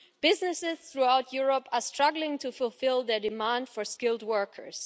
Businesses throughout Europe are struggling to fulfil their demand for skilled workers.